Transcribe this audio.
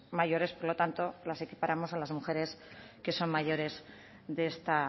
mayores por lo tanto las equiparamos a las mujeres que son mayores de esta